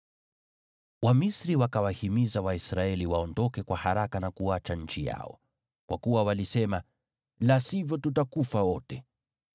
Wamisri wakawahimiza Waisraeli waondoke kwa haraka na kuacha nchi yao. Kwa kuwa walisema, “La sivyo, tutakufa wote!”